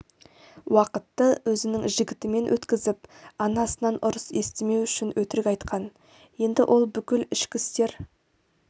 уақытты өзінің жігітімен өткізіп анасынан ұрыс естімеу үшін өтірік айтқан енді ол бүкіл ішкі істер